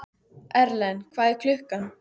Erlen, hvað er klukkan?